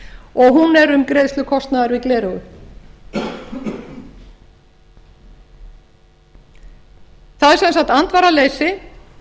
og hún er um greiðslu kostnaðar við gleraugu það er sem sagt andvaraleysi